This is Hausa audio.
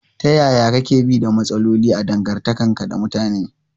Ta yaya kake bi da matsaloli a dangantakarka da mutane?